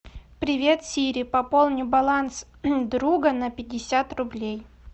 привет сири пополни баланс друга на пятьдесят рублей